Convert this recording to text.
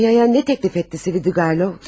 Duyaya nə təklif etdi Svidriqaylov?